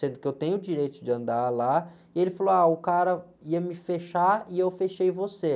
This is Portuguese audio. sendo que eu tenho o direito de andar lá, e ele falou, ah, o cara ia me fechar e eu fechei você.